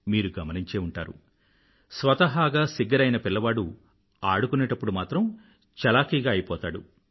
మీరు గమనించే ఉంటారు స్వతహాగా సిగ్గరి అయిన పిల్లవాడు ఆడుకునేప్పుడు మాత్రం చలాకీగా అయిపోతాడు